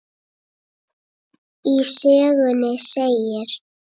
Í sögunni segir